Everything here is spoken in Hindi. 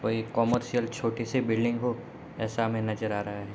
कोई कमर्शियल छोटी सी बिल्डिंग हो ऐसा हमें नज़र आ रहा है।